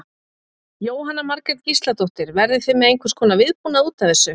Jóhanna Margrét Gísladóttir: Verðið þið með einhvers konar viðbúnað útaf þessu?